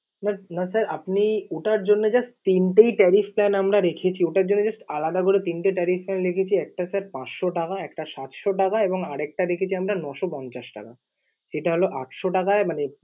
না sir আপনি, ওটার জন্যে just SIM টাই tariff plans আমরা রেখেছি। ওটার জন্যে just আলাদা করে তিনটে tariff plan রেখেছি। একটা sir পাঁচশো টাকা, একটা সাতশো টাকা, এবং আরেকটা রেখেছি আমরা নয়শো পঞ্চাশ টাকা। এটা হল আটশ টাকায় মানে